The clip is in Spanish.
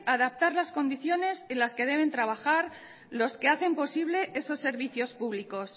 adaptar las condiciones en las que deben trabajar los que hacen posible esos servicios públicos